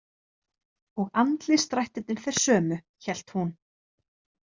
Og andlitsdrættirnir þeir sömu, hélt hún.